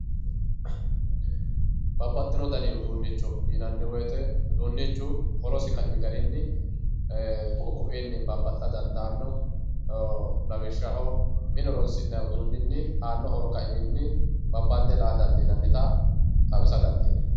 Babaxino dani uduunicho yinanni woyite uduunichu horosi kaimi garinni ku'u koiyinni babaxa dandanno lawishaho mine horonsinanni uduunini aano horo kaiminni babande la'a dandinanitta xawissa dandiinayi